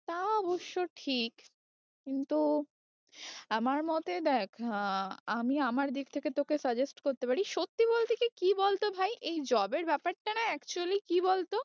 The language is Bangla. তা অবশ্য ঠিক কিন্তু আমার মতে দেখ আহ আমি আমার দিক থেকে তোকে suggest করতে পারি সত্যি বলতে কি, কি বল তো ভাই এই job এর ব্যাপারটা না actually কি বল তো